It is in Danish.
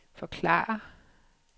forklare